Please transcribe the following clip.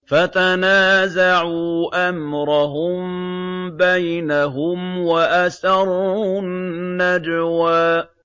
فَتَنَازَعُوا أَمْرَهُم بَيْنَهُمْ وَأَسَرُّوا النَّجْوَىٰ